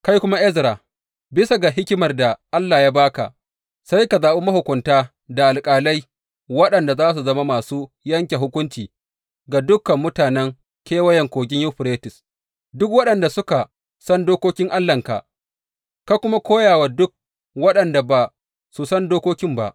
Kai kuma Ezra, bisa ga hikimar da Allah ya ba ka, sai ka zaɓi mahukunta da alƙalai waɗanda za su zama masu yanke hukunci ga dukan mutanen Kewayen Kogin Yuferites, duk waɗanda suka san dokokin Allahnka, ka kuma koya wa duk waɗanda ba su san dokokin ba.